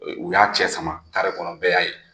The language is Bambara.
Ee u y'a cɛ sama kare kɔnɔ bɛɛ ya ye.